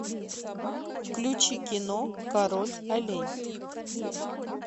включи кино король олень